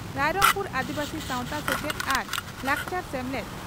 ᱨᱟᱭᱨᱚᱝᱯᱩᱨ ᱟᱹᱫᱤᱵᱟᱹᱥᱤ ᱥᱟᱣᱛᱟ ᱥᱮᱪᱮᱫ ᱟᱨ ᱞᱟᱠᱪᱟᱨ ᱥᱮᱢᱞᱮᱫ